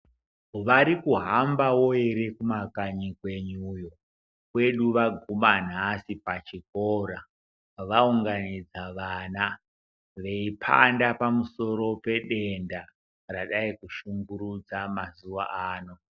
Varikuhambawo ere kumakanyi kwenyuyo kwedu vaguma nhasi pachikora vaunganidza vana veiphanda pamusoro pedenda radai kushungurudza mazuwa ano.